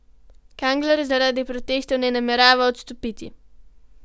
Kangler zaradi protestov ne namerava odstopiti.